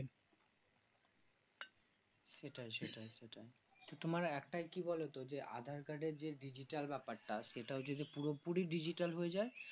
সেটাই সেটাই কিন্তু একটা কি বলতো যে aadhar card এ যে ডিজিটাল ব্যাপার টা পুরোপুরি ডিজিটাল হয়ে যায়